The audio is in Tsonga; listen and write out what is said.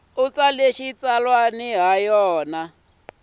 u tsala xitsalwana hi yona